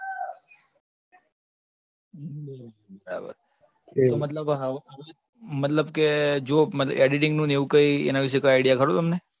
બરાબર મતલબ કે editing ને એવું કઈ, એના વિષે idea ખરો તમને